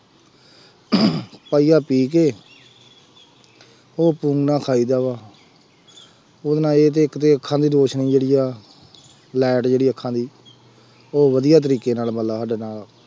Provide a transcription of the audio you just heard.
ਪਾਈਆ ਪੀ ਕੇ ਉਹ ਖਾਈਦਾ ਵਾ, ਪੂਰਨਾ ਇਹ ਤੇ ਇੱਕ ਤੇ ਅੱਖਾਂ ਦੀ ਰੌਸ਼ਨੀ ਬੜੀ ਆ, light ਜਿਹੜੀ ਅੱਖਾਂ ਦੀ, ਉਹ ਵਧੀਆ ਤਰੀਕੇ ਨਾਲ ਮਤਬਲ ਸਾਡੇ ਨਾ,